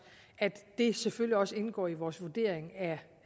at det selvfølgelig også indgår i vores vurdering